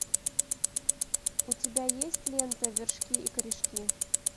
у тебя есть лента вершки и корешки